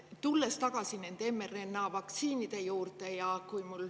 Tulen tagasi nende mRNA-vaktsiinide juurde.